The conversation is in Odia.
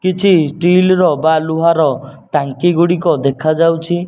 କିଛି ଷ୍ଟେଲ ର ବା ଲୁହା ର ଟାଙ୍କି ଗୁଡିକ ଦେଖା ଯାଉଚି।